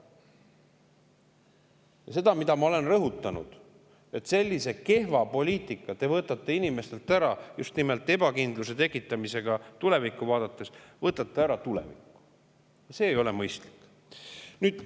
See on see, mida ma olen rõhutanud, et sellise kehva poliitikaga te võtate inimestelt ära tuleviku, just nimelt ebakindluse tekitamisega tulevikku vaadates – see ei ole mõistlik.